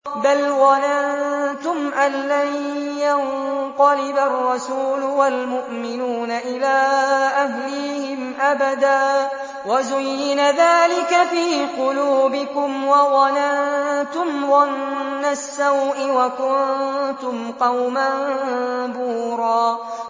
بَلْ ظَنَنتُمْ أَن لَّن يَنقَلِبَ الرَّسُولُ وَالْمُؤْمِنُونَ إِلَىٰ أَهْلِيهِمْ أَبَدًا وَزُيِّنَ ذَٰلِكَ فِي قُلُوبِكُمْ وَظَنَنتُمْ ظَنَّ السَّوْءِ وَكُنتُمْ قَوْمًا بُورًا